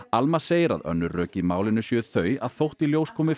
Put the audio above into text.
Alma segir að önnur rök í málinu séu þau að þótt í ljós komi